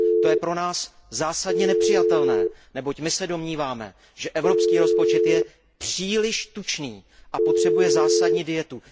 To je pro nás zásadně nepřijatelné, neboť my se domníváme, že evropský rozpočet je příliš tučný a potřebuje zásadní dietu.